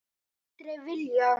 Aldrei villa.